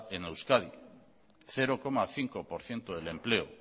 en euskadi cero coma cinco por ciento del empleo